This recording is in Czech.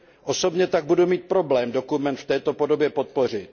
Osobně tak budu mít problém dokument v této podobě podpořit.